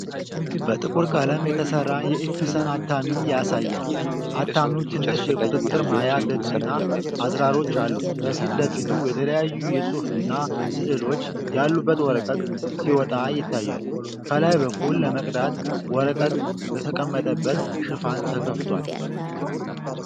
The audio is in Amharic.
በጥቁር ቀለም የተሠራ የኢፕሰን አታሚ ያሳያል። አታሚው ትንሽ የቁጥጥር ማያ ገጽና አዝራሮች አሉት። ከፊት ለፊቱ የተለያዩ የጽሑፍና ሥዕሎች ያሉበት ወረቀት ሲወጣ ይታያል። ከላይ በኩል ለመቅዳት ወረቀት የተቀመጠበት ሽፋን ተከፍቷል።